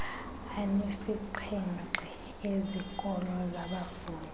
anesixhenxe ezikolo zabafundi